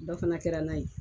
Dɔ fana kɛra n'a ye.